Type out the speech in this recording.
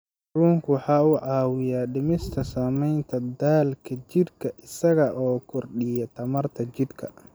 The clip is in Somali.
Kalluunku waxa uu caawiyaa dhimista saamaynta daalka jidhka isaga oo kordhiya tamarta jidhka.